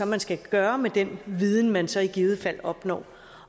man skal gøre med den viden man så i givet fald opnår